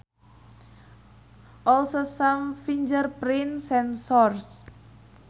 Also some fingerprint sensors.